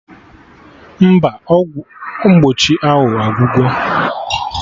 Mba, ọgwụ mgbochi ahụ agwugo